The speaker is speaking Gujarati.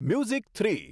music three